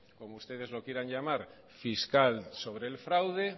como ustedes lo quieran llamar fiscal sobre el fraude